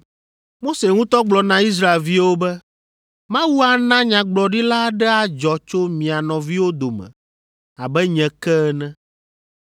“Mose ŋutɔ gblɔ na Israelviwo be, ‘Mawu ana nyagblɔɖila aɖe adzɔ tso mia nɔviwo dome abe nye ke ene.’